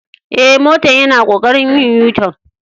Eh, motan yana kokarin yin U-tun.